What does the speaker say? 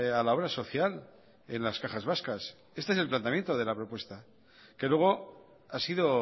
a la obra social en las cajas vascas este es el planteamiento de la propuesta que luego ha sido